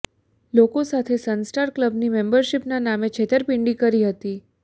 લોકો સાથે sun star ક્લબની મેમ્બરશિપના નામે છેતરપિંડી કરી હતી